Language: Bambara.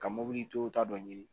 Ka mobilitigiw ta dɔ ɲini